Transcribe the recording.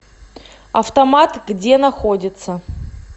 автомат где находится